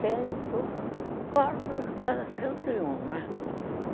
Quarto... Quase cento e um, né?